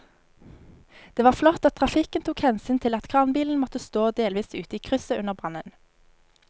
Det var flott at trafikken tok hensyn til at kranbilen måtte stå delvis ute i krysset under brannen.